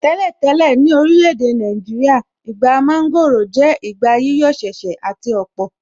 Tẹ́lẹ̀ tẹ́lẹ̀, ní orílẹ̀ èdè Nàìjíríà, Ìgbà mọ́ńgòrò jẹ́ ìgbà yíyọ̀ ṣẹ̀ṣẹ̀ àti ọ̀pọ̀.